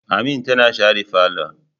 Amin tana share falon